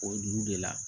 O dugu de la